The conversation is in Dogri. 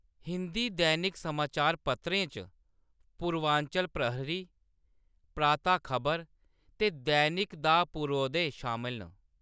हिंदी दैनिक समाचार पत्रें च पूर्वांचल प्रहरी, प्रातः खबर ते दैनिक दा पूर्वोदय शामल न।